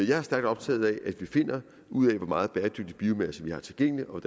jeg er stærkt optaget af at vi finder ud af hvor meget bæredygtig biomasse vi har tilgængelig og